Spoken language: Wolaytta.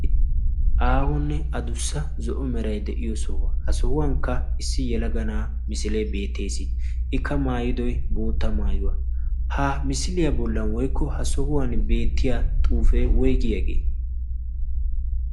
aahonne adussa zo77o merai de7iyo sohuwaa. ha sohuwankka issi yalaga na7a misilee beettees. ikka maayidoi bootta maayuwaa. ha misiliyaa bollan woikko ha sohuwan beettiya xuufee woigi yaagee?